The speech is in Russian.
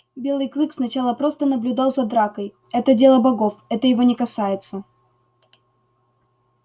белый клык сначала просто наблюдал за дракой это дело богов это его не касается